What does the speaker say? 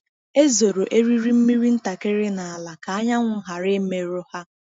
E zoro eriri mmiri ntakịrị n’ala ka anyanwụ ghara imerụ ha.